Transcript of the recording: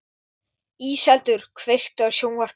Íseldur, kveiktu á sjónvarpinu.